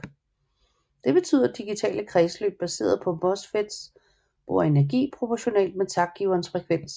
Det betyder digitale kredsløb baseret på MOSFETs bruger energi proportionalt med taktgiverens frekvens